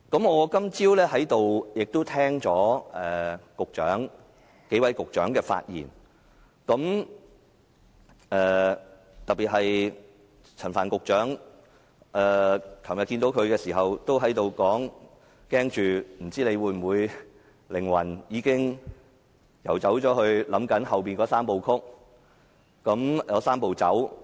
我今早在會議廳內聽到數位局長的發言，特別是陳帆局長，昨天遇到他時，我對他表示擔心他的靈魂已經遊走，只懂想着以後的"三步走"。